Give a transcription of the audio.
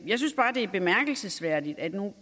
jeg synes bare det er bemærkelsesværdigt at